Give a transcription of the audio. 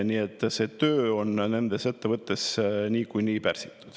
Nii et töö on nendes ettevõtetes niikuinii pärsitud.